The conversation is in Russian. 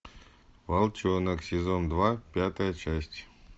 волчонок сезон два пятая часть